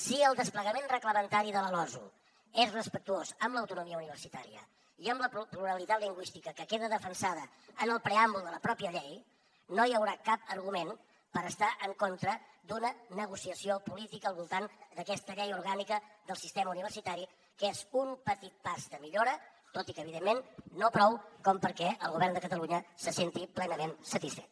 si el desplegament reglamentari de la losu és respectuós amb l’autonomia universitària i amb la pluralitat lingüística que queda defensada en el preàmbul de la pròpia llei no hi haurà cap argument per estar en contra d’una negociació política al voltant d’aquesta llei orgànica del sistema universitari que és un petit pas de millora tot i que evidentment no prou com perquè el govern de catalunya se senti plenament satisfet